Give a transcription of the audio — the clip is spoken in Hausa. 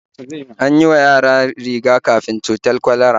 An yi wa yara riga-kafin cutar kwalera